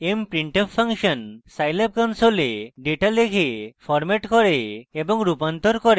mprintf function scilab console data লেখে formats করে এবং রূপান্তর করে